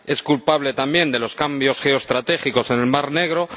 es culpable también de los cambios geoestratégicos en el Mar Negro